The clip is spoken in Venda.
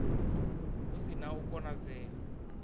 hu si na u konadzea